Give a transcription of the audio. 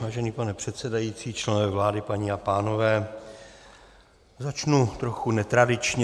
Vážený pane předsedající, členové vlády, paní a pánové, začnu trochu netradičně.